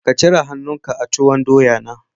Ka cire han'nu ka a tuwon doya na